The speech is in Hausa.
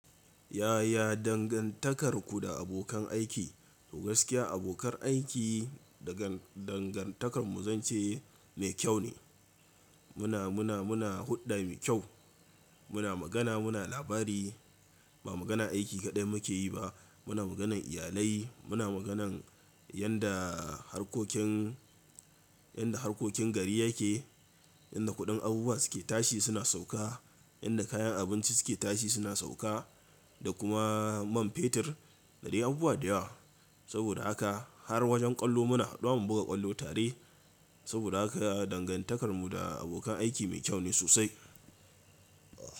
Yaya dangantakarku da abokan aiki? Gaskiya abokan aiki dangantakarmu zance mai kyau ne. Muna, muna, muna hulɗa mai kyau, muna magana, muna labari, ba maganan aiki kaɗai muke yi ba, muna maganan iyalai, muna maganan yanda harkokin yanda harkokin gari yake, yanda kuɗin abubuwa suke tashi suna sauka, yanda kayan abinci suke tashi suna sauka da kuma man fetur. Da dai abubuwa da yawa. Saboda haka har wajen ƙwallo muna haɗuwa mu buga ƙwallo tare. Saboda haka dangantakarmu da abokan aiki mai kyau ne sosai.